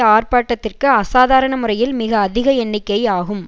ஆர்ப்பாட்டத்திற்கு அசாதாரண முறையில் மிகஅதிக எண்ணிக்கை ஆகும்